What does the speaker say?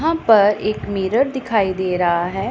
यहां पर एक मिरर दिखाई दे रहा है।